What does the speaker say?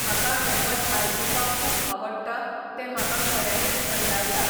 म्हाका हें पद आयकूूपाक खूब आवडटा तें म्हाका खऱ्यानीच थंडायता